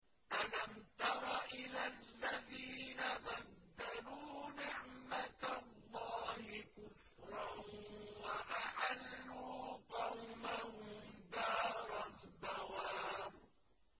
۞ أَلَمْ تَرَ إِلَى الَّذِينَ بَدَّلُوا نِعْمَتَ اللَّهِ كُفْرًا وَأَحَلُّوا قَوْمَهُمْ دَارَ الْبَوَارِ